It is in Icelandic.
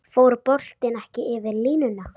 Fór boltinn ekki yfir línuna?